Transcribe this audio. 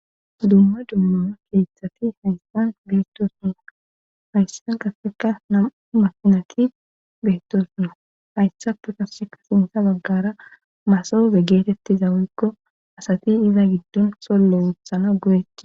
dumma dummaa keeththati haysan beettosona hayssan qaseka nam'u makinati beettosona hayssape qaaseka sintha baggara masoobe geetettiza woykko asati iza giddon solle wothana go'etti